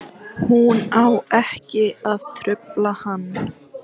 Hún á ekki að trufla hann.